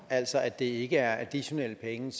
altså ikke er additionelle penge